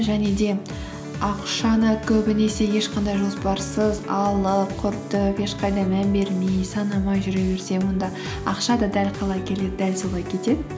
және де ақшаны көбінесе ешқандай жоспарсыз алып құртып ешқайда мән бермей санамай жүре берсең онда ақша да дәл қалай келеді дәл солай кетеді